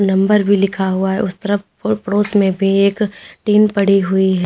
Number भी लिखा हुआ है उस तरफ प पड़ोस में भी एक टीन पड़ी हुई है।